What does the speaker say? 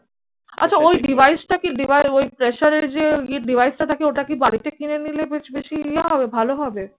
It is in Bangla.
আচ্ছা ওই device টা কি ওই প্রেশারের যে device টা থাকে ওটা কি বাড়িতে কিনে নিলে বেশ বেশি ইয়ে হবে ভালো হবে?